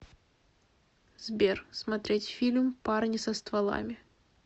сбер смотреть фильм парни со стволами